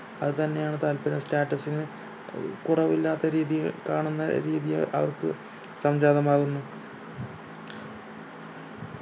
അത് തന്നെ ആണ് താൽപ്പര്യം status ന ഏർ കുറവില്ലാത്ത രീതിയിൽ കാണുന്ന രീതിയിൽ ഏർ അവർക്ക് സംചാതമാകുന്നു